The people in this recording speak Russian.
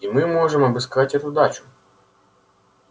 и мы можем обыскать эту дачу